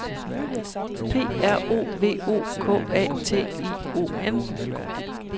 P R O V O K A T I O N